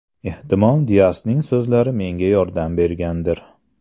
Ehtimol Diasning so‘zlari menga yordam bergandir.